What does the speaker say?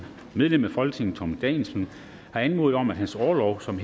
medlem af folketinget thomas danielsen har anmodet om at hans orlov som